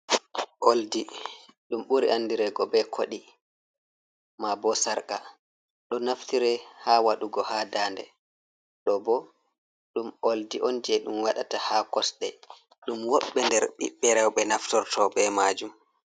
Oldi ɗum ɓuri andirego be kodi, mabo sarka ɗo naftire ha waɗugo ha dande, ɗo bo ɗum oldi'on je ɗum waɗata ha kosɗe ɗum woɓbe nder biɓbe rewɓe naftorto be majum.